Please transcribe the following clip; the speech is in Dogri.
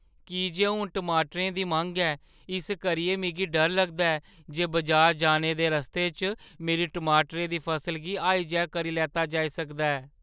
की जे हून टमाटरें दी मंग ऐ, इस करियै मिगी डर लगदा ऐ जे बजार जाने दे रस्ते च मेरी टमाटरें दी फसल गी हाइजैक करी लैता जाई सकदा ऐ।